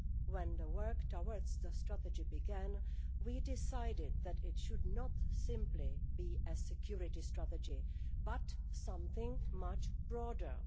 When the work towards the strategy began, we decided that it should be not simply a security strategy but something much broader.